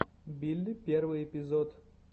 билли первый эпизод